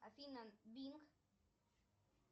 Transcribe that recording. афина бинк